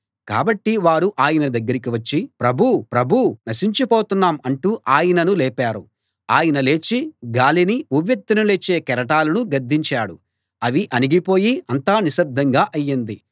కాబట్టి వారు ఆయన దగ్గరికి వచ్చి ప్రభూ ప్రభూ నశించిపోతున్నాం అంటూ ఆయనను లేపారు ఆయన లేచి గాలినీ ఉవ్వెత్తున లేచే కెరటాలనూ గద్దించాడు అవి అణిగిపోయి అంతా నిశ్శబ్దంగా అయింది